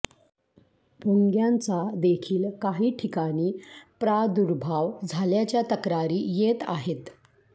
भूंग्यांचा देखील काही ठिकाणी प्रादुर्भाव झाल्याच्या तक्रारी येत आहेत